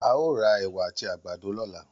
A ó ra ẹ̀wà àti àgbàdo lọ́la.